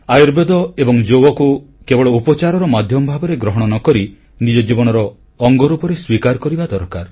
ଆୟୁର୍ବେଦ ଓ ଯୋଗକୁ କେବଳ ଉପଚାରର ମାଧ୍ୟମ ଭାବରେ ଗ୍ରହଣ ନ କରି ନିଜ ଜୀବନର ଅଙ୍ଗରୂପେ ସ୍ୱୀକାର କରିବା ଦରକାର